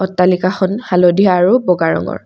তালিকাখন হালধীয়া আৰু বগা ৰঙৰ।